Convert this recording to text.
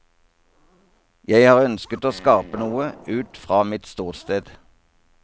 Jeg har ønsket å skape noe ut fra mitt ståsted.